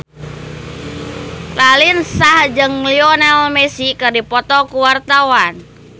Raline Shah jeung Lionel Messi keur dipoto ku wartawan